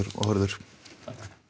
og Þórður þá